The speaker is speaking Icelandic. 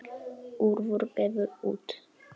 Urður gefur út.